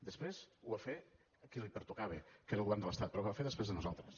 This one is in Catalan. després ho va fer qui li pertocava que era el govern de l’estat però ho va fer després de nosaltres